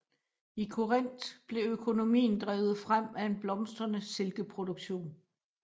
I Korinth blev økonomien drevet frem af en blomstrende silkeproduktion